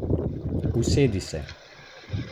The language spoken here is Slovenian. Usede se.